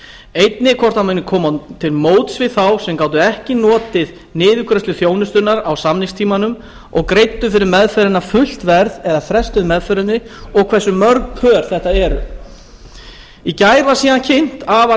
einnig hvort hann muni koma til móts við þá sem gátu ekki notið niðurgreiðslu þjónustunnar á samningstímanum og greiddu fyrir meðferðina fullt verð eða frestuðu meðferðinni og hversu mörg pör þetta eru í gær var síðan kynnt afar